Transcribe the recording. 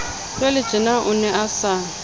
jwaletjena o ne a se